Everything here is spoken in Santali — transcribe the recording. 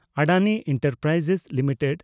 Adani enterprise limited